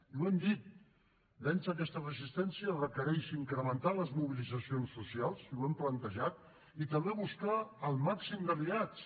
i ho hem dit vèncer aquesta resistència requereix incrementar les mobilitzacions socials i ho hem plantejat i també buscar el màxim d’aliats